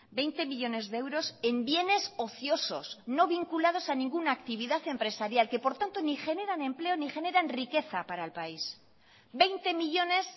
veinte millónes de euros en bienes ociosos no vinculados a ninguna actividad empresarial que por tanto ni generan empleo ni generan riqueza para el país veinte millónes